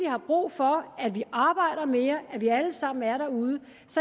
har brug for at vi arbejder mere at vi alle sammen er derude